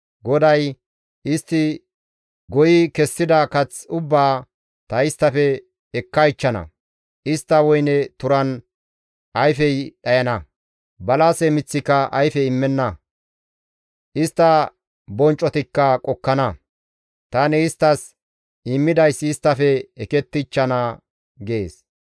GODAY, «Istti goyi kessida kath ubbaa ta isttafe ekkaychchana; istta woyne turan ayfey dhayana; balase miththika ayfe immenna; istta bonccotikka qokkana; tani isttas immidayssi isttafe ekettichchana» gees.